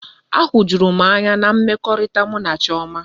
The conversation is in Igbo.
Ahujuru m anya na mmekọrịta mụ na Chioma.